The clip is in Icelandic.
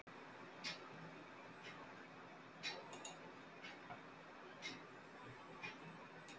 Höskuldur: Var þetta öflug á sínum tíma?